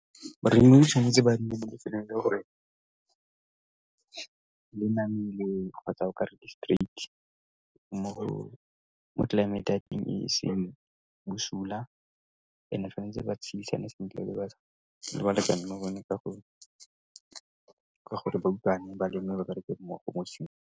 tse ba ne le gore le namile kgotsa okare di-straight mo tlelaemete ya teng e seng bosula and-e tshwanetse ba tshedisane sentle le balekane ba bone ka gore ba utlwane, ba leme, ba bareke mmogo .